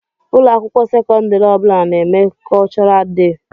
Ụlọakwụkwọ sekondari ọbula na-eme kultural dei.